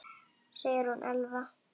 Sigrún Elfa.